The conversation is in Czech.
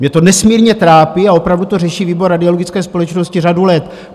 Mě to nesmírně trápí a opravdu to řeší výbor Radiologické společnosti řadu let.